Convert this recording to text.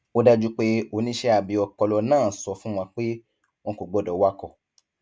ó dájú pé oníṣẹ abẹ ọpọlọ náà á sọ fún wọn pé wọn kò gbọdọ wakọ